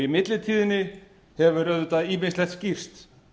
í millitíðinni hefur auðvitað ýmislegt skýrst